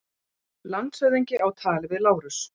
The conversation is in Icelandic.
Landshöfðingi á tali við Lárus.